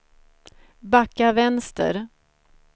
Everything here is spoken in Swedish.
backa vänster